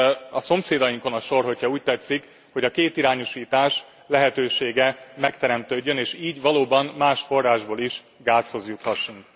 Most a szomszédainkon a sor, ha úgy tetszik, hogy a kétirányúsítás lehetősége megteremtődjön, és így valóban más forrásból is gázhoz juthassunk.